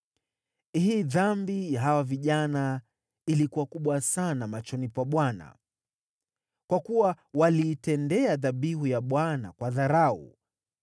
Hii Dhambi ya hawa vijana ilikuwa kubwa sana machoni pa Bwana , kwa kuwa waliitendea dhabihu ya Bwana kwa dharau.